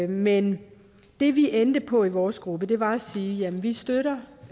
men det vi endte på i vores gruppe var at sige at vi støtter